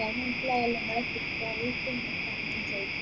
മനസിലായി മനസിലായി എല്ലാം